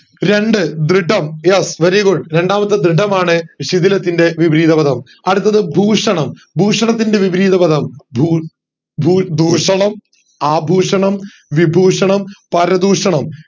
രണ്ട് ദൃഢം yes very good രണ്ടാമത്തെ ദൃഢമനു ശിഥിലത്തിന്റെ വിപരീത പദം അടുത്തത്ത് ഭൂഷണം ഭൂഷണത്തിൻറെ വിപരീതപദം ദൂൽ ദൂൽ ദൂഷണം അഭൂഷണം വിദൂഷണം പരദൂഷണം